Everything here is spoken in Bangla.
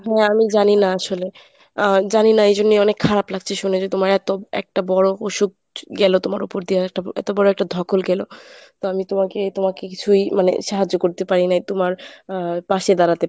হ্যাঁ আমি জানি না আসলে। আহ জানি না এইজন্যে অনেক খারাপ লাগছে শুনে যে তোমার এত একটা বড় অসুখ গেল তোমার উপর দিয়ে একটা এত বড় একটা ধকল গেল তা আমি তোমাকে তোমাকে কিছুই মানে সাহায্য করতে পারি নাই তুমার আহ পাশে দাড়াতে